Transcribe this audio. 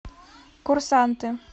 курсанты